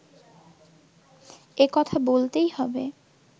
এ কথা বলতেই হবে